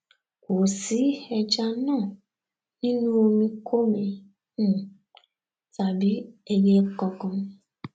kò sí ẹja náà nínú omikómi um tàbí ẹyẹ kankan